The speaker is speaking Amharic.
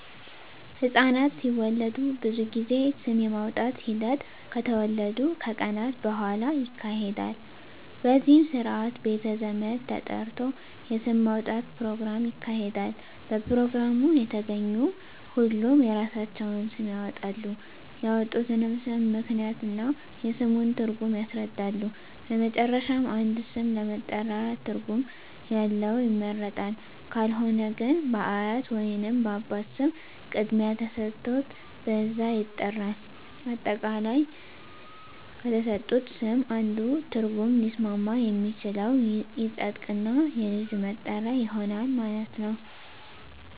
ህፃናት ሲወለዱ ብዙ ጊዜ ስም የማውጣት ሒደት ከተወለዱ ከቀናት በሁዋላ ይካሄዳል በዚህም ስርአት ቤተ ዘመድ ተጠርቶ የስም ማውጣት ኘሮግራም ይካሄዳል በፕሮግራሙ የተገኙ ሁሉም የራሳቸውን ስም ያወጣሉ ያወጡትንም ስም ምክንያት እና የስሙን ትርጉም ያስረዳሉ በመጨረሻም አንድ ስም ለመጠሪያ ትርጉም ያለው ይመረጣል ካልሆነ ግን በአያት ወይንም በአባት ስም ቅድሚያ ተሠጥቶት በዛ ይጠራል። አጠቃላይ ከተሠጡት ስም አንዱ ትርጉም ሊስማማ የሚችለው ይፀድቅ እና የልጁ መጠሪያ ይሆናል ማለት ነው።